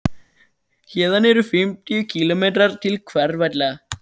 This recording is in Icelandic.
Héðan eru um fimmtíu kílómetrar til Hveravalla.